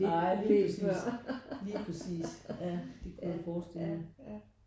Ej lige præcis lige præcis ja det kunne jeg forstille mig